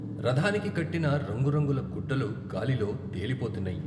రథానికి కట్టిన రంగురంగుల గుడ్డలు గాలిలో తేలిపోతున్నాయి.